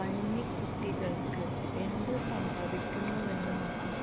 പന്നിക്കുട്ടികള്ക്ക് എന്തു സംഭവിക്കുന്നുവെന്ന് നോക്കാം